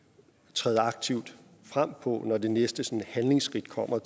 træde aktivt frem på når det næste handlingsskridt kommer